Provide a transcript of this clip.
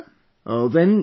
Absolutely sir